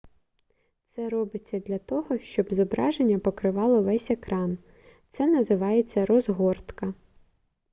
це робиться для того щоб зображення покривало весь екран це називається розгортка